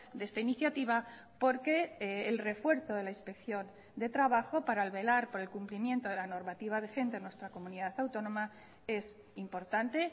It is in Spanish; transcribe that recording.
de esta iniciativa porque el refuerzo de la inspección de trabajo para velar por el cumplimiento de la normativa vigente en nuestra comunidad autónoma es importante